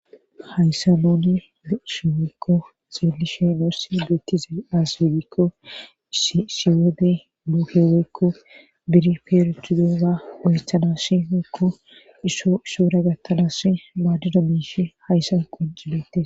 hayssa nuni be'ishine woykko xeelishe noorsi dettize aswedikko shiwede luuheweykko biri peerethudoza oythana shi heekko isoo ishoora gattalas maadido miishi hayssa quncie